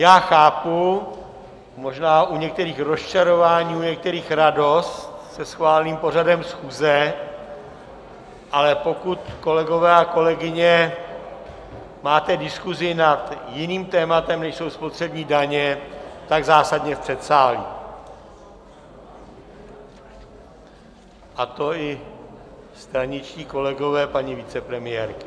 Já chápu možná u některých rozčarování, u některých radost se schváleným pořadem schůze, ale pokud, kolegové a kolegyně, máte diskusi nad jiným tématem, než jsou spotřební daně, tak zásadně v předsálí, a to i straničtí kolegové paní vicepremiérky.